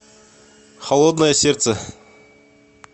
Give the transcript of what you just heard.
холодное сердце